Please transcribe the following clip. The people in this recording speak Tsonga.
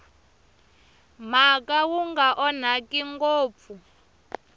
mhaka wu nga onhaki ngopfu